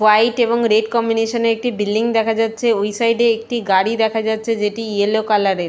White এবং red combination -এ একটি বিল্ডিং দেখা যাচ্ছে ওই সাইড -এ একটি গাড়ি দেখা যাচ্ছে যেটি ইয়েলো কালার -এর ।